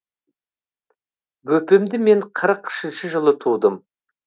бөпемді мен қырық үшінші жылы тудым